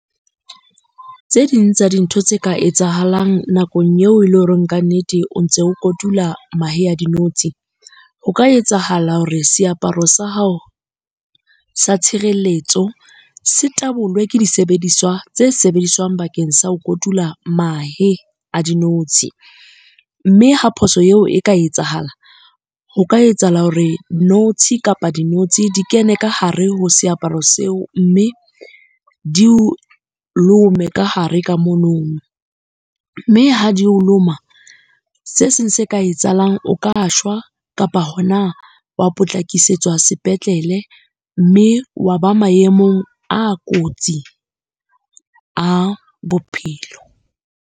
Tse ding tsa dintho tse ka etsahalang nakong eo e le horeng kannete o ntse o kotula mahe a dinotshi. Ho ka etsahala hore seaparo sa hao sa tshireletso se tabolwe ke disebediswa tse sebediswang bakeng sa ho kotula mahe a dinotshi. Mme ha phoso eo e ka etsahala, ho ka etsahala hore notshi kapa di notshi di kene ka hare ho seaparo seo mme di o lome ka hare ka mono. Mme ha di o loma, se seng se ka etsahalang o ka shwa kapa hona wa potlakisetswa sepetlele, mme wa ba maemong a kotsi a bophelo.